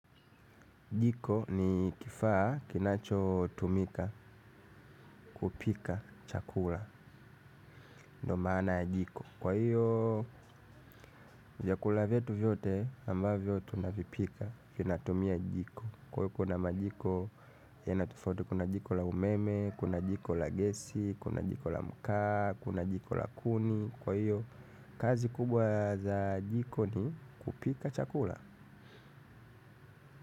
Jiko ni kifaa kinachotumika kupika chakula. Ndo maana ya jiko. Kwa hiyo vyakula vyetu vyote ambavyo tunavipika vinatumia jiko, kwa hiyo kuna majiko yana tofauti. Kuna jiko la umeme, kuna jiko la gesi, kuna jiko la mkaa, kuna jiko la kuni. Kwa hiyo kazi kubwa za jiko ni kupika chakula.